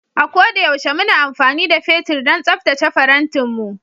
A ko da yaushe muna amfani da fetur don tsaftace farantinmu